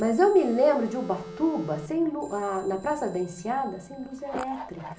Mas eu me lembro de Ubatuba, sem lu, a na Praça da Enseada, sem luz elétrica.